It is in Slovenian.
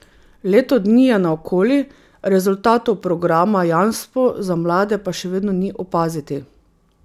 Leto dni je naokoli, rezultatov programa Jamstvo za mlade pa še vedno ni opaziti.